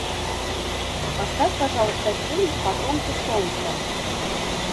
поставь пожалуйста фильм потомки солнца